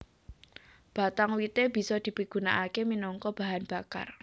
Batang wité bisa dipigunakaké minangka bahan bakar